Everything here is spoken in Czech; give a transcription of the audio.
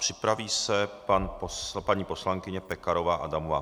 Připraví se paní poslankyně Pekarová Adamová.